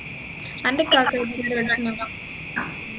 അൻറെ ഇക്കാക്ക ഏതു വരെ പഠിച്ചിന്